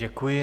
Děkuji.